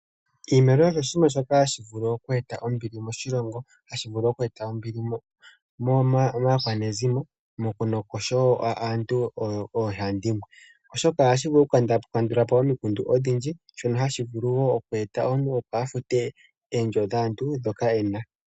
Oshimaliwa osho oshinima shoka hashivulu oku eta ombili moshilongo, hashi vulu oku eta ombili maakwanezimo naantu oohandimwe oshoka ohashi kandulapo omikundu odhindji ohashi vulu noku eta omuntu opo a fute oondjo dhaantu ndhoka ena.